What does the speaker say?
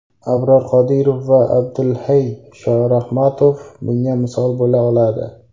Abror Qodirov va Abdulhay Shorahmatov bunga misol bo‘la oladi.